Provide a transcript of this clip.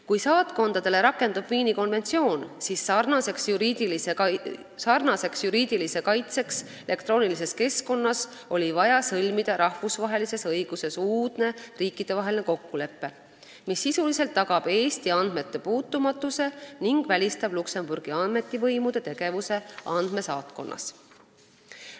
Kui saatkondade suhtes rakendub Viini konventsioon, siis sarnase juriidilise kaitse saamiseks elektroonilises keskkonnas oli vaja sõlmida rahvusvahelises õiguses uudne riikidevaheline kokkulepe, mis sisuliselt tagab Eesti andmete puutumatuse ning välistab Luksemburgi ametivõimude tegevuse andmesaatkonnas.